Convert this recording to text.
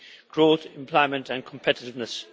growth, employment and competitiveness.